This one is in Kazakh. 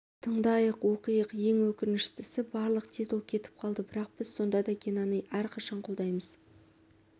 тыңдайық оқиық ең өкініштісі барлық титул кетіп қалды бірақ біз сонда да генаны әрқашан қолдаймыз